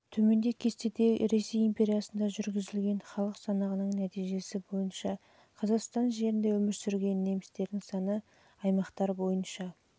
төмендегі кестеде жылғы ресей империясында жүргізілген халық санағының нәтижесі бойынша қазақстан жерінде өмір сүрген немістердің саны аймақтар бойынша